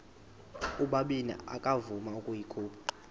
ubabini akavuma ukuyikhupha